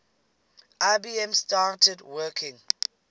ibm started working